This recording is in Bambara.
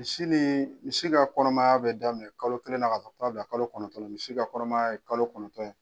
Misi ni, misi ka kɔnɔmaya be daminɛ kalo kelen na ka taa bila kalo kɔnɔtɔ misi ka kɔnɔmaya ye kalo kɔnɔtɔn ye.